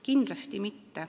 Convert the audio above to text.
Kindlasti mitte.